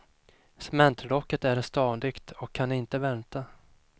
Cementlocket är stadigt och kan inte välta.